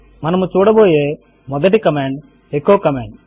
మనము చూడబోయే మొదటి కమాండ్ ఎచో కమాండ్